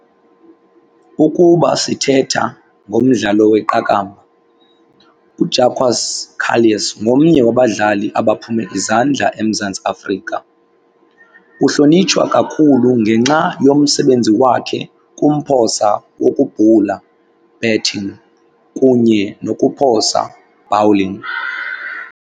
Ukuba sithetha ngomdlalo weqakamba, uJacques Kallis ngomnye wabadlali abaphume izandla eMzantsi Afrika. Uhlonitshwa kakhulu ngenxa yomsebenzi wakhe kumphosa wokubhula, batting, kunye nokuphosa, bowling.